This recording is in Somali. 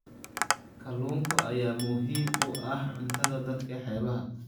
Kalluunka ayaa muhiim u ah cuntada dadka xeebaha ah.